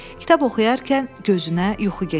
Kitab oxuyarkən gözünə yuxu getdi.